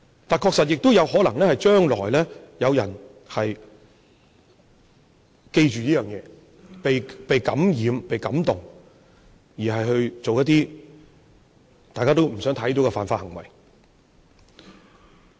但是，確實亦有可能是，將來有人記着這一點，被感染、被感動，而做出一些大家都不想看到的犯法行為。